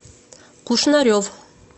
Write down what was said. кушнарев